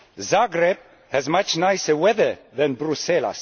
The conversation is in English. Zagreb has much nicer weather than Brussels!